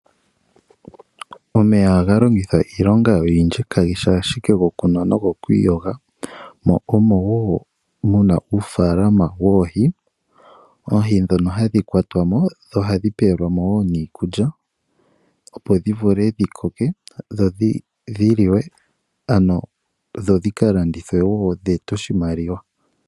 Omeya ohaga longithwa iilonga oyindji kageshi ashike gokunwa nogoku iyoga, mo omo wo muna uufaalama woohi, oohi ndhono hadhi kwatwa mo, dho ohadhi pewelwa mo wo niikulya, opo dhi vule dhi koke, dho dhi liwe ano dho dhika landithwe wo dhi ete oshimaliwa.